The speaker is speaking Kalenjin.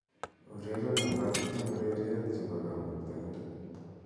ureren alak en ureryet chebo kamuktaindet